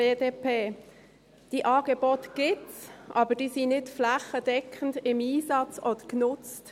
Diese Angebote gibt es, aber sie sind nicht flächendeckend im Einsatz oder genutzt.